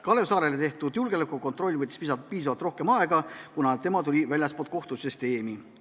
Kalev Saarele tehtud julgeolekukontroll võttis rohkem aega, kuna tema tuli väljastpoolt kohtusüsteemi.